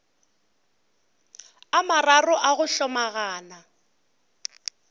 a mararo a go hlomagana